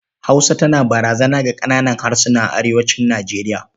Hausa tana barazana ga ƙananan harsuna a arewacin Nijeriya.